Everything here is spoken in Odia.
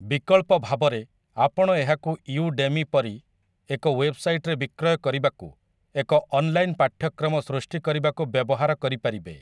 ବିକଳ୍ପ ଭାବରେ, ଆପଣ ଏହାକୁ ୟୁ-ଡେମି ପରି ଏକ ୱେବ୍‌ସାଇଟ୍‌ରେ ବିକ୍ରୟ କରିବାକୁ, ଏକ ଅନଲାଇନ୍‌ ପାଠ୍ୟକ୍ରମ ସୃଷ୍ଟି କରିବାକୁ ବ୍ୟବହାର କରିପାରିବେ ।